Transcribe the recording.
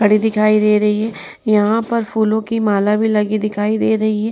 पड़ी दिखाई दे रही है। यहाँ पर फूलों की माला भी दिखाई दे रही है।